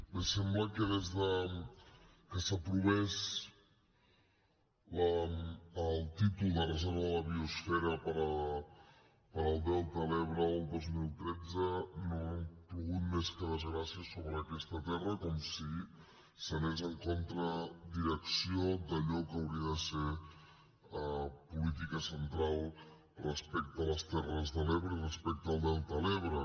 bé sembla que des que es va aprovar el títol de reserva de la biosfera per al delta de l’ebre el dos mil tretze no han plogut més que desgràcies sobre aquesta terra com si s’anés contra direcció d’allò que hauria de ser política central respecte a les terres de l’ebre i respecte al delta de l’ebre